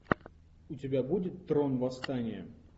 у тебя будет трон восстание